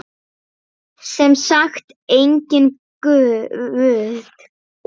Sem sagt, enginn guð.